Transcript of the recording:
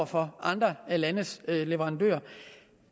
fra andre landes leverandør